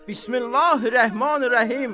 Bismillahi-r-Rəhmanir-Rəhim.